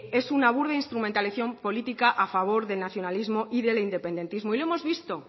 es una burda instrumentalización política a favor del nacionalismo y del independentismo y lo hemos visto